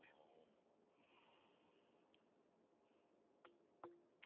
Reynir að gera þessum manni ljóst að þetta hafi verið misskilningur.